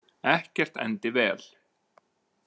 Ekkert endi vel.